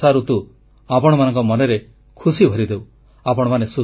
ଏହି ବର୍ଷାଋତୁ ଆପଣମାନଙ୍କ ମନରେ ଖୁସି ଭରିଦେଉ